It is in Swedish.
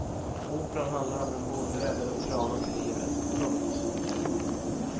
Operan handlar om hur en bonde räddar en trana till livet. punkt